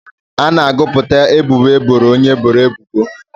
A na-agụpụta ebubo eboro onye eboro ebubo.